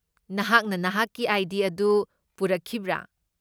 ꯅꯍꯥꯛꯅ ꯅꯍꯥꯛꯀꯤ ꯑꯥꯏ.ꯗꯤ. ꯑꯗꯨ ꯄꯨꯔꯛꯈꯤꯕ꯭ꯔꯥ?